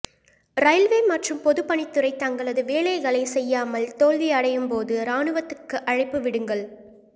railway மற்றும் பொதுப்பணித்துறை தங்களது வேலைகளைச் செய்யாமல் தோல்வி அடையும்போது இராணுவத்துக்கு அழைப்பு விடுங்கள்